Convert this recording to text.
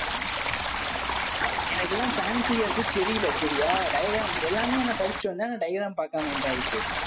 எனக்கு இது எல்லாம் pancreas தெரியலே சரியா? diagram எல்லாமே நான் படிச்சுட்டு வந்தேன் diagram பார்க்காம வந்துட்டேன் அதுக்கு.